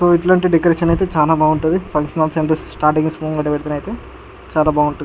ఉమ్ ఇట్లాంటి డెకొరేషన్ ఐతే చానా బావుంటది ఫంక్షన్ హాల్స్ అండ్ చానా బావుంట --